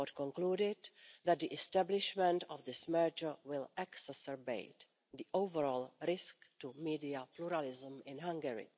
report concluded that the establishment of this merger will exacerbate the overall risk to media pluralism in Hungary.